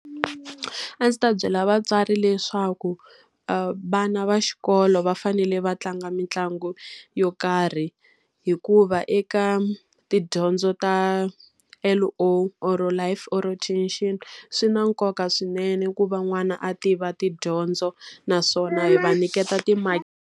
A ndzi ta byela vatswari leswaku vana va xikolo va fanele va tlanga mitlangu yo karhi. Hikuva eka tidyondzo ta L_O or-o life orientation, swi na nkoka swinene ku va n'wana a tiva tidyondzo. Naswona yi va nyiketa .